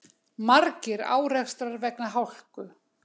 Margir árekstrar vegna hálku